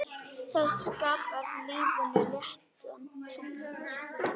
Það skapar lífinu léttan tón.